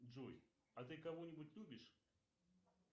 джой а ты кого нибудь любишь